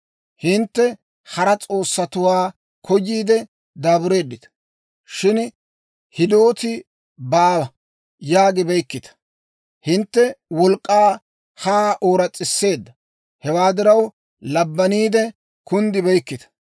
Hintte hara s'oossatuwaa koyiidde daabureeddita; shin, ‹Hidooti baawa› yaagibeykkita. Hintte wolk'k'ay haa ooras's'eedda; hewaa diraw, labbaniide kunddibeykkita.